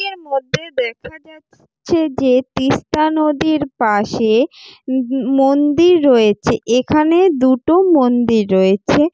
টির মধ্যে দেখা যাচ্ছে যে তিস্তা নদীর পাশে ম ম মন্দির রয়েছে। এখানে দুটো মন্দির রয়েছে।